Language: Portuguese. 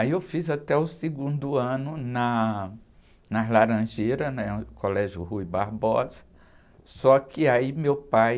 Aí eu fiz até o segundo ano na, nas Laranjeiras, né? No Colégio Rui Barbosa, só que aí meu pai...